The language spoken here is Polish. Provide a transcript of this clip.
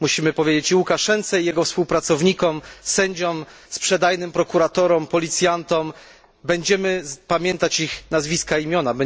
Musimy powiedzieć i Łukaszence i jego współpracownikom, sędziom, sprzedajnym prokuratorom, policjantom będziemy pamiętać ich nazwiska i imiona.